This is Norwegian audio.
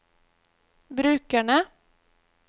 brukerne